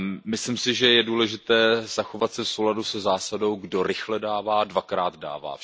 Myslím si, že je důležité zachovat se v souladu se zásadou Kdo rychle dává, dvakrát dává.